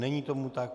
Není tomu tak.